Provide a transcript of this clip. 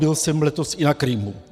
Byl jsem letos i na Krymu.